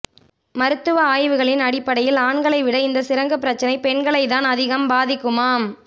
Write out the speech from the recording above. மருத்துவ ஆய்வுகளின் அடிப்படையில் ஆண்களை விட இந்த சிரங்குப் பிரச்னை பெண்களைத்தான் அதிகம் பாதிக்குமாம்